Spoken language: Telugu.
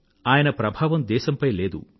ఆయన ప్రభావం దేశంపై లేదు